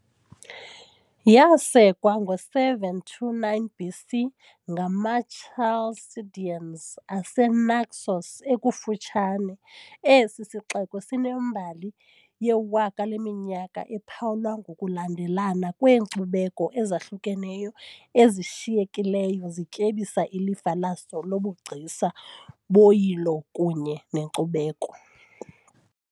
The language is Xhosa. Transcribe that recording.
Yasekwa ngo-729 BC ngamaChalcideans aseNaxos ekufutshane, esi sixeko sinembali yewaka leminyaka ephawulwa ngokulandelelana kweenkcubeko ezahlukeneyo ezishiyekileyo zityebisa ilifa laso lobugcisa, boyilo kunye nenkcubeko .